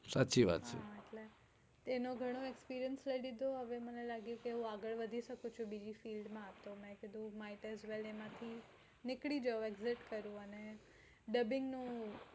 સાચી વાત છે તેનોઘનો experience લઇ લીધો હવે મને લાગ્યું કે હું આગળ નીકળી શકુ છુ